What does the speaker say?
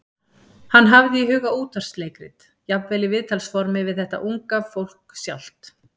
Hann hafði í huga útvarpsleikrit, jafnvel í viðtalsformi við þetta unga fólk sjálft.